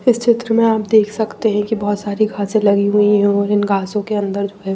इस चित्र में आप देख सकते हैं कि बहुत सारी घासें लगी हुई हैं और इन घासों के अंदर जो है--